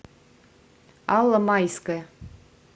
алла майская